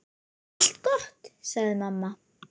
Bara allt gott, sagði mamma.